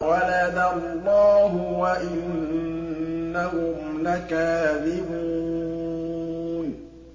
وَلَدَ اللَّهُ وَإِنَّهُمْ لَكَاذِبُونَ